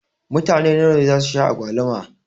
Mutane nawa ne zasu sha agwaluma?